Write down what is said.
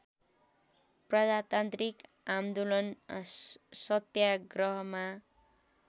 प्रजातान्त्रिक आन्दोलन सत्याग्रहमा